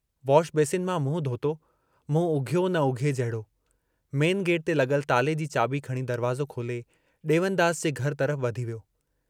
Washbasin मां मुंहुं धोतो, मुंहुं उघियो न उघिये जहिड़ो, मेन गेट ते लगल ताले जी चाबी खणी दरवाज़ो खोले, डेवनदास जे घर तरफ़ वधी वियो।